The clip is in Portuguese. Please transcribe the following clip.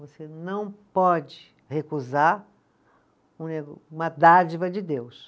Você não pode recusar uma dádiva de Deus.